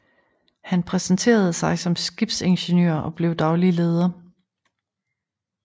Han præsenterede sig som skibsingeniør og blev daglig leder